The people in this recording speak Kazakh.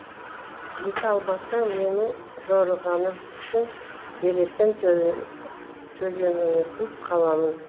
жете алмасаң менің жорығаным үшін беретін төлеміңсіз қаламын